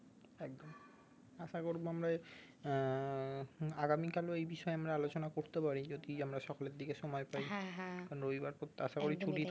একদম আসা করবো আমরা এই আহ হম আগামী কালে ওই বিষয়ে আমরা আলোচনা করতে পারি যদি আমরা সকালের দিকে সময় পাই কারণ রবিবার খুব আশাকরি ছুটি